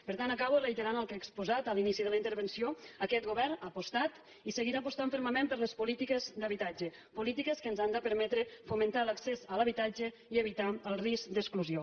per tant acabo reiterant el que he exposat a l’inici de la intervenció aquest govern ha apostat i seguirà apostant fermament per les polítiques d’habitatge polítiques que ens han de permetre fomentar l’accés a l’habitatge i evitar el risc d’exclusió